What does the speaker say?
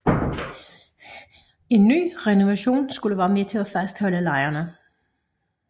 En ny renovation skulle være med til at fastholde lejerne